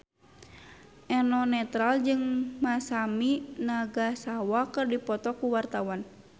Eno Netral jeung Masami Nagasawa keur dipoto ku wartawan